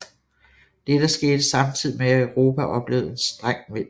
Dette skete samtidigt med at Europa oplevede en streng vinter